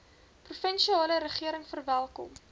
provinsiale regering verwelkom